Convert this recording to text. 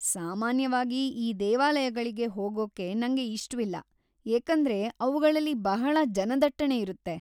ಸಾಮನ್ಯವಾಗಿ ಈ ದೇವಾಲಯಗಳಿಗೆ ಹೋಗೊಕ್ಕೆ ನಂಗೆ ಇಷ್ಟವಿಲ್ಲಾ ಏಕಂದ್ರೆ ಅವುಗಳಲ್ಲಿ ಬಹಳಾ ಜನದಟ್ಟಣಿ ಇರೊತ್ತೆ.